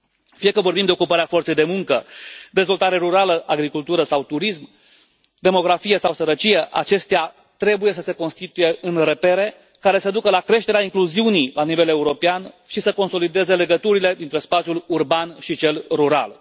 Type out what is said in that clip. Fie că vorbim de ocuparea forței de muncă, dezvoltare rurală, agricultură sau turism, demografie sau sărăcie, acestea trebuie să se constituie în repere care să ducă la creșterea incluziunii la nivel european și să consolideze legăturile dintre spațiul urban și cel rural.